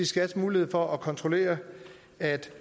skat mulighed for at kontrollere at